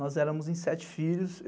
Nós éramos em sete filhos.